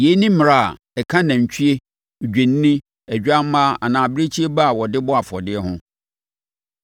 Yei ne mmara a ɛka nantwie, odwennini, odwammaa anaa abirekyie ba a wɔde bɔ afɔdeɛ ho.